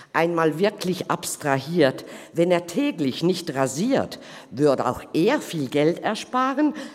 Einmal wirklich abstrahiert: Wenn er täglich nicht rasiert, würd’ auch er viel Geld einsparen.